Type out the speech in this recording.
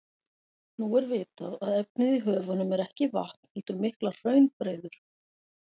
Nú er vitað að efnið í höfunum er ekki vatn heldur miklar hraunbreiður.